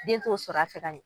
Den t'o sɔrɔ a fɛ ka ɲɛ.